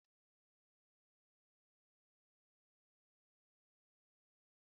Mmanụ oriri bụ ihe ọzọ maka isi nri na ighe.